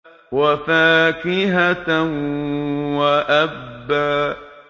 وَفَاكِهَةً وَأَبًّا